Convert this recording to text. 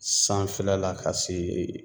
Sanfɛla la ka se